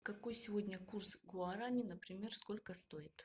какой сегодня курс гуарани например сколько стоит